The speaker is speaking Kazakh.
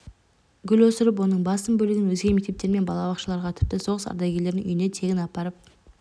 гүл өсіріп оның басым бөлігін өзге мектептер мен балабақшаларға тіпті соғыс ардагерлерінің үйіне тегін апарып